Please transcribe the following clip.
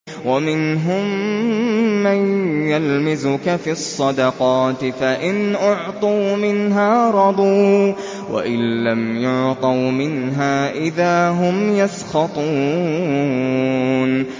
وَمِنْهُم مَّن يَلْمِزُكَ فِي الصَّدَقَاتِ فَإِنْ أُعْطُوا مِنْهَا رَضُوا وَإِن لَّمْ يُعْطَوْا مِنْهَا إِذَا هُمْ يَسْخَطُونَ